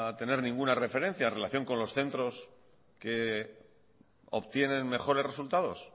tener ninguna referencia relación con los centros que obtienen mejores resultados